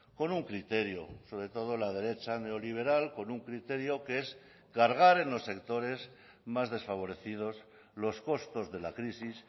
con un criterio sobre todo la derecha neoliberal con un criterio que es cargar en los sectores más desfavorecidos los costos de la crisis